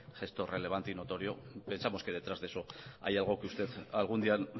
gestor relevante y notorio pensamos que detrás de eso hay algo que usted algún día